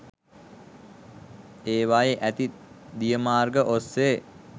ඒවායේ ඇති දිය මාර්ග ඔස්සේ